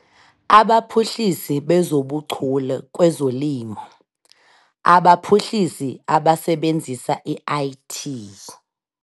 Abaphuhlisi bezobuChule kwezoLimo- Abaphuhlisi abasebenzisa i-IT.